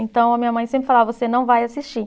Então a minha mãe sempre falava, você não vai assistir.